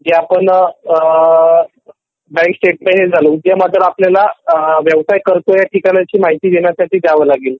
जे आपण bank statement ने चालाऊ . उद्यम आधार व्यवसाय करतोय ची माहिती देण्यासाठी द्यावा लागेल